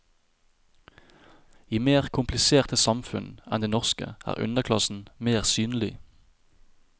I mer kompliserte samfunn enn det norske er underklassen mer synlig.